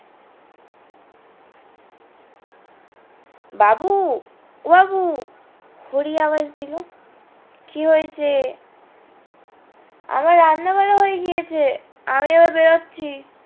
বাবু ও বাবু হরি আওয়াজ দিলো কি হয়েছে আমার রান্না করা হয়ে গিয়েছে আমি এবার বেরাচ্ছি